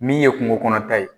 Min ye kungokɔnɔta ye